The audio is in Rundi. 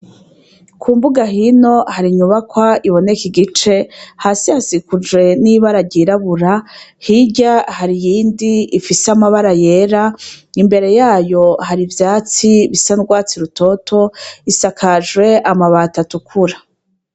Ku mbuga hino hari inyubakwa iboneka igice, hasi hasikuje n'ibara ryirabura hirya hari iyindi ifise amabara yera imbere yayo hari ivyatsi bisa n'urwatsi rutoto isakajwe amabati atukura.